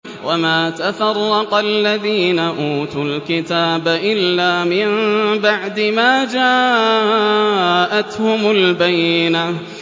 وَمَا تَفَرَّقَ الَّذِينَ أُوتُوا الْكِتَابَ إِلَّا مِن بَعْدِ مَا جَاءَتْهُمُ الْبَيِّنَةُ